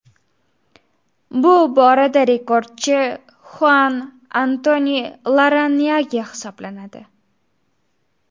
Bu borada rekordchi Xuan Antoni Larranyage hisoblanadi.